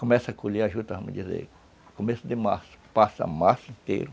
Começa a colher a juta, vamos dizer, começo de março, passa março inteiro,